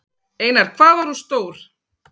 Einar: Hvað var hún stór?